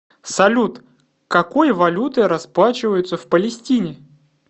салют какой валютой расплачиваются в палестине